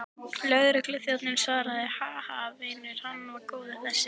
Lögregluþjónninn svaraði, Ha, ha, vinur, hann var góður þessi.